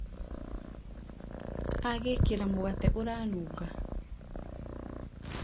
agĩkĩra mũgate ũranunga